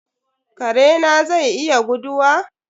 Kare na zai iya guduwa?